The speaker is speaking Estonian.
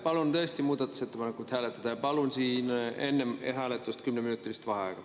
Palun tõesti muudatusettepanekut hääletada ja palun enne hääletust 10-minutilist vaheaega.